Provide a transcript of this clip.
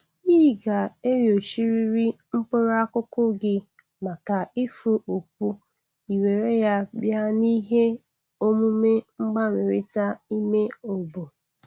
Ị ga-enyochrịrị mkpụrụ akụkụ gị maka ifu upu i were ya bịa nihe omume mgbanwerịta ime oboo.